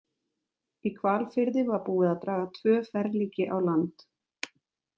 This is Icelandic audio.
Í Hvalfirði var búið að draga tvö ferlíki á land.